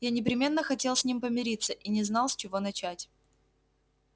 я непременно хотел с ним помириться и не знал с чего начать